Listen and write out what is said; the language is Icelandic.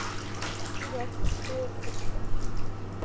Ég bið ykkur!